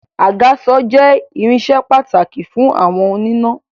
Àgàsọ̀ jẹ irinsẹ́ pàtàkì fún àwọn oníná